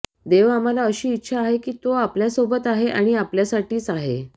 देव आम्हाला अशी इच्छा आहे की तो आपल्यासोबत आहे आणि आपल्यासाठी आहे